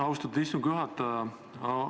Austatud istungi juhataja!